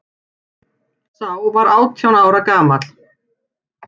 Sá var átján ára gamall